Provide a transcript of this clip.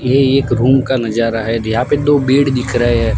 ये एक रूम का नजारा है यहां पे दो बेड दिख रहे है।